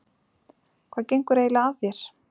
Hvað gengur eiginlega að þér?